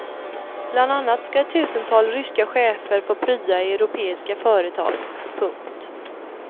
Bland annat ska ett tusental ryska chefer få prya i europeiska företag. punkt